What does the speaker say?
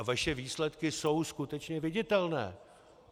A vaše výsledky jsou skutečně viditelné.